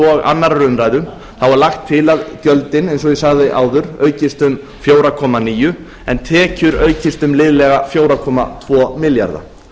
og annarrar umræðu þá er lagt til að gjöldin eins og ég sagði áður aukist um fjóra komma níu en tekjur aukist um liðlega fjögur komma tvo milljarða